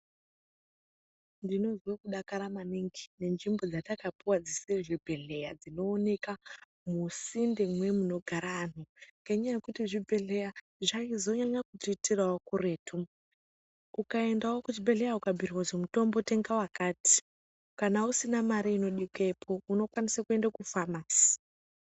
Ndinozwe kudakara maningi nenzvimbo dzatakapuwa dzisiri zvibhedhleya dzinooneka musinte mwemunogara antu ngenyaya yekuti zvibhedhlera zvaizonyanya kutiitirawo kuretu, ukaendawo kuzvibhedhlera ukabhuyirwa kuzi mutombo tenga wakati kana usina mari inodiikepo unokwanise kuenda kufamasi.